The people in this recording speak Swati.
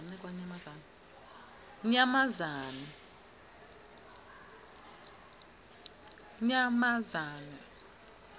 nyamazane